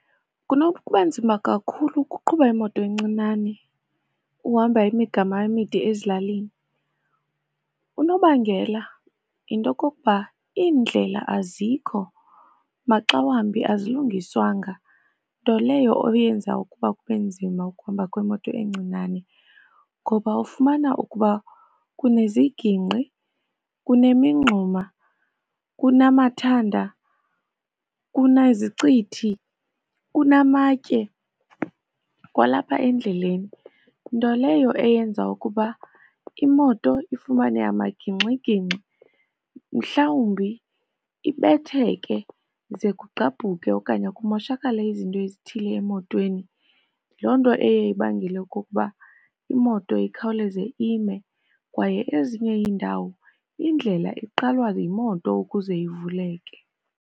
Kunokuba nzima kakhulu ukuqhuba imoto encinane uhamba imigama emide ezilalini. Unobangela yinto yokokuba iindlela azikho maxawambi azilungiswanga, nto leyo eyenzayo ukuba kube nzima ukuhamba kwemoto encinane. Ngoba ufumana ukuba kunezigingqi, kunemingxuma, kunamathanda, kunezicithi, kunamatye kwalapha endleleni, nto leyo eyenza ukuba imoto ifumane amagingxigingxi mhlawumbi ibetheke ze kugqabhuka okanye kumoshakale izinto ezithile emotweni. Loo nto eye ibangele okokuba imoto ikhawuleze ime. Kwaye ezinye iindawo indlela iqalwa yimoto ukuze ivuleke.